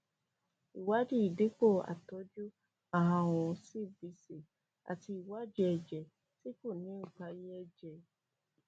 ìwádìí ìdìpò àtọjú àrùn cbc àti ìwádìí èjè tí kò ní ìparí èjè